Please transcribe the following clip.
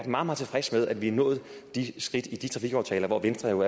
meget tilfreds med at vi er nået de skridt videre i de trafikaftaler hvoraf venstre jo